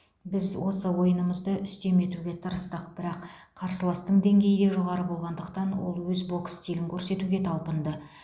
біз осы ойынымызды үстем етуге тырыстық бірақ қарсыластың деңгейі жоғары болғандықтан ол өз бокс стилін көрсетуге талпынды